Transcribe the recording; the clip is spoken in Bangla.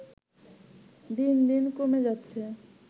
দিন দিন কমে যাচ্ছে